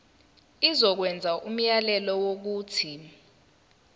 izokwenza umyalelo wokuthi